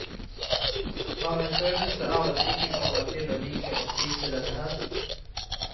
Har en følelse av at vi ikke kommer til å like å spise dette her.